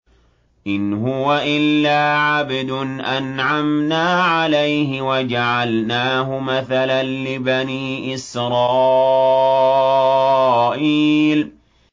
إِنْ هُوَ إِلَّا عَبْدٌ أَنْعَمْنَا عَلَيْهِ وَجَعَلْنَاهُ مَثَلًا لِّبَنِي إِسْرَائِيلَ